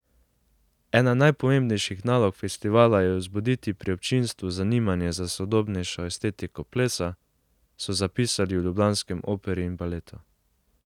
Ena najpomembnejših nalog festivala je vzbuditi pri občinstvu zanimanje za sodobnejšo estetiko plesa, so zapisali v ljubljanskem Operi in baletu.